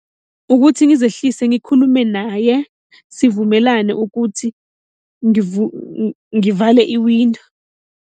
Ukuthi ngizehlise ngikhulume naye sivumelane ukuthi ngivale iwindo.